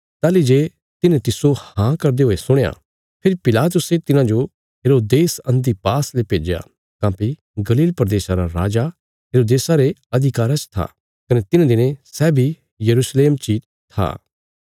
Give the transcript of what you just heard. ताहली जे तिन्हे तिस्सो हाँ करदे हुये सुणया फेरी पिलातुसे तिन्हाजो हेरोदेस अन्तिपास ले भेज्या काँह्भई गलील प्रदेशा रा राजा हेरोदेसा रे अधिकारा च था कने तिन्हे दिनें सै बी यरूशलेम ची था